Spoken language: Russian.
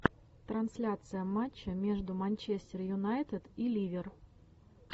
трансляция матча между манчестер юнайтед и ливер